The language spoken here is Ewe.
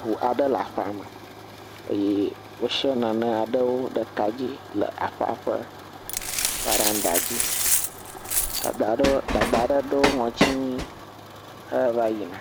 ŋu aɖe le aƒeame eye wosia nanewo ɖe kadzi le aƒea ƒe veranda dzi, dada ɖe dada ɖe ɖo ŋɔti nui heva yina.